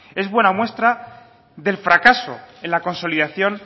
es buena muestra del fracaso de la consolidación